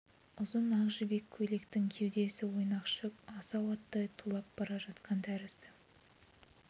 ұзын ақ жібек көйлектің кеудесі ойнақшып асау аттай тулап бара жатқан тәрізді